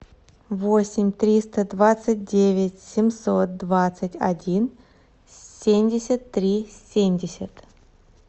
восемь триста двадцать девять семьсот двадцать один семьдесят три семьдесят